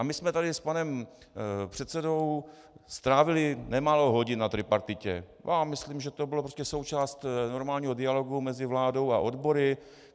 A my jsme tady s panem předsedou strávili nemálo hodin na tripartitě a myslím, že to byla prostě součást normálního dialogu mezi vládou a odbory.